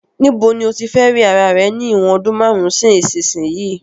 Ni bo ni o tí fe ri ara rẹ ni ìwòn odún marun si isínsìnyí